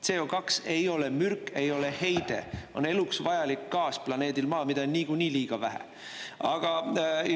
CO2 ei ole mürk, ei ole heide, on eluks vajalik gaas planeedil Maa, mida on niikuinii liiga vähe.